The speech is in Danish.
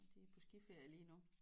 Og de er på skiferie lige nu